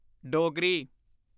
Dogri